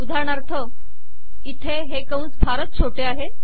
उदाहरणार्थ इथे हे कंस फारच छोटे आहेत